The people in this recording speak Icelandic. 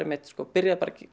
byrjaði bara að